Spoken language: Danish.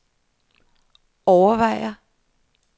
overvejer